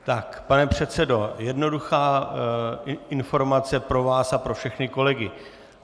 Tak, pane předsedo, jednoduchá informace pro vás a pro všechny kolegy.